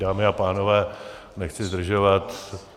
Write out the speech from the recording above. Dámy a pánové, nechci zdržovat.